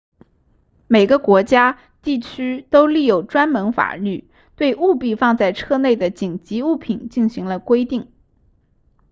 每个国家地区都立有专门法律对务必放在车内的紧急物品进行了规定